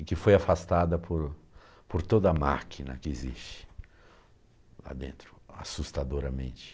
E que foi afastada por por toda a máquina que existe lá dentro, assustadoramente.